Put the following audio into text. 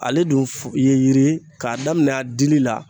Ale dun f ye yiri ye k'a daminɛ a dili la